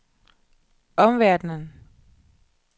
omverdenen